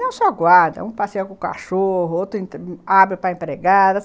Não só guarda, um passeia com o cachorro, outro abre para empregada.